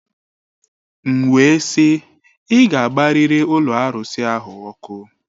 M wee sị, ị ga-agbarịrị ụlọ arụsị ahụ ọkụ!